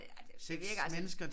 Ja det virker altså lidt